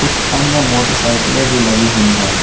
कुछ अन्य मोटरसाइकिलें भी लगी हुई हैं।